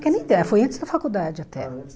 Que nem dá, foi antes da faculdade até. Ah, antes